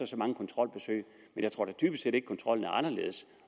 så mange kontrolbesøg men jeg tror da dybest set ikke kontrollen er anderledes